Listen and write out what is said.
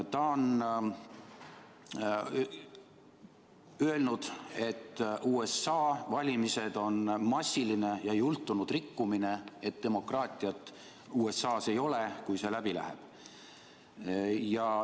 Ta on öelnud, et USA valimised on massiline ja jultunud rikkumine, et demokraatiat USA-s ei ole, kui see tulemus läbi läheb.